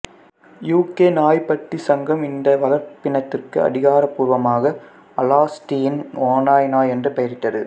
UK நாய்ப்பட்டி சங்கம் இந்த வளர்ப்பினத்திற்கு அதிகாரப்பூர்வமாக அலாஸ்தியன் ஓநாய் நாய் என்று பெயரிட்டது